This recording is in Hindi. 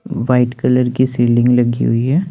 व्हाइट कलर की सीलिंग लगी हुई है।